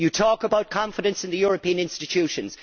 You talk about confidence in the European institutions